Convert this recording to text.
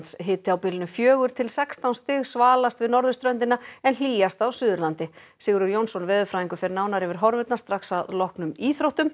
hiti á bilinu fjögur til sextán stig við norðurströndina en hlýjast á Suðurlandi Sigurður Jónsson veðurfræðingur fer nánar yfir horfurnar strax að loknum íþróttum